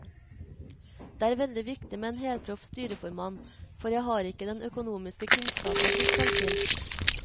Det er veldig viktig med en helproff styreformann, for jeg har ikke den økonomiske kunnskapen som skal til.